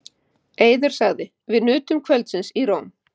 Eiður sagði: Við nutum kvöldsins í Róm.